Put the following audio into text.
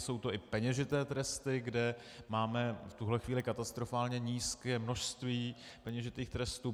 Jsou to i peněžité tresty, kde máme v tuhle chvíli katastrofálně nízké množství peněžitých trestů.